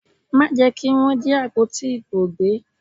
Má jẹ́ kí Wọ́n jí àpótí ìbò gbé!